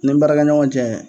Ni baarakɛɲɔgɔnw cɛ